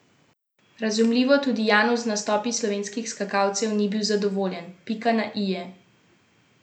Razumljivo tudi Janus z nastopi slovenskih skakalcev ni bil zadovoljen: "Pika na i je manjkala.